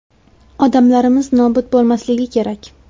Odamlarimiz nobud bo‘lmasligi kerak.